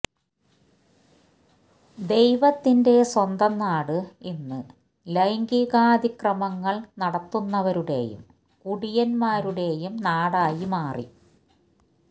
ദൈവത്തിന്റെ സ്വന്തം നാട് ഇന്ന് ലൈംഗികാതിക്രമങ്ങള് നടത്തുന്നവരുടെയും കുടിയന്മാരുടെയും നാടായി മാറി